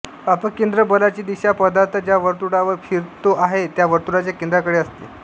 अपकेंद्र बलाची दीशा पदार्थ ज्या वर्तुळावर फिरतो आहे त्या वर्तुळाच्या केंद्राकडे असते